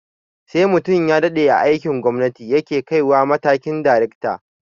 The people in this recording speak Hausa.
Sai mutum ya daɗe a aikin gwamnati ya ke kaiwa matakin daracta